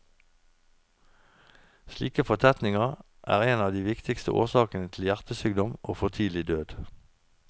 Slike fortetninger en av de viktigste årsakene til hjertesykdom og for tidlig død.